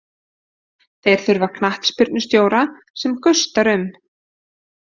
Þeir þurfa knattspyrnustjóra sem gustar um.